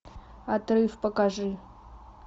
отрыв покажи